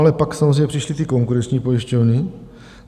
Ale pak samozřejmě přišly ty konkurenční pojišťovny.